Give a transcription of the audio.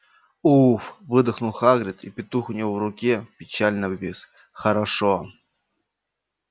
уф выдохнул хагрид и петух у него в руке печально обвис хорошо